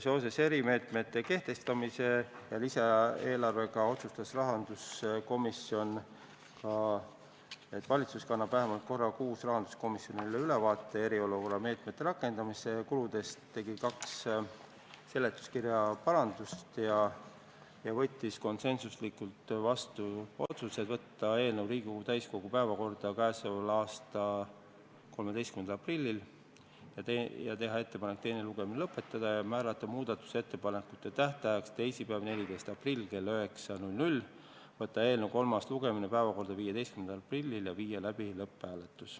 Seoses erimeetmete kehtestamise ja lisaeelarvega otsustas rahanduskomisjon, et valitsus annab vähemalt korra kuus rahanduskomisjonile ülevaate eriolukorra meetmete rakendamisest ja kuludest, tegi seletuskirjas kaks parandust ja võttis konsensuslikult vastu järgmised otsused: võtta eelnõu Riigikogu täiskogu päevakorda k.a 13. aprilliks ja teha ettepanek teine lugemine lõpetada, määrata muudatusettepanekute esitamise tähtajaks teisipäeva, 14. aprilli kell 9, ning võtta eelnõu kolmas lugemine päevakorda 15. aprilliks ja viia siis läbi lõpphääletus.